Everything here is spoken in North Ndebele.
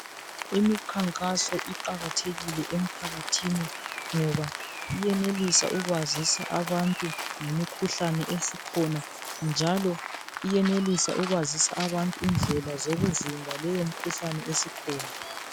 Imikhankaso iqakathekile emphakathini ngoba iyenelisa ukwazisa abantu ngemikhuhlane esikhona njalo iyenelisa ukwazisa abantu indlela zokuvimba leyo mikhuhlane esikhona.